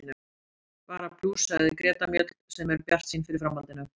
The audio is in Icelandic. Bara plús, sagði Greta Mjöll sem er bjartsýn fyrir framhaldinu.